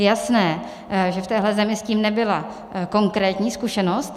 Je jasné, že v téhle zemi s tím nebyla konkrétní zkušenost.